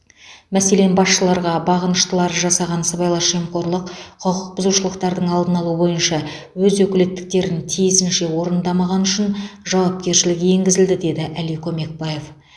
мәселен басшыларға бағыныштылары жасаған сыбайлас жемқорлық құқық бұзушылықтардың алдын алу бойынша өз өкілеттіктерін тиісінше орындамағаны үшін жауапкершілік енгізілді деді әли көмекбаев